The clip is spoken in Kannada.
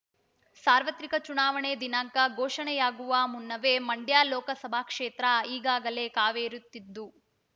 ಸಾರ್ವತ್ರಿಕ ಚುನಾವಣೆ ದಿನಾಂಕ ಘೋಷಣೆಯಾಗುವ ಮುನ್ನವೇ ಮಂಡ್ಯ ಲೋಕಸಭಾ ಕ್ಷೇತ್ರ ಈಗಾಗಲೇ ಕಾವೇರುತ್ತಿದ್ದು